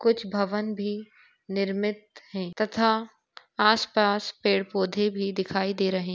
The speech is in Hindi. कुछ भवन भी निर्मित है। तथा आसपास पेड़ पौधे भी दिखाई दे रहे--